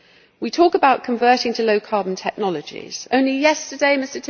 We talk about converting to low carbon technologies only yesterday, Mr.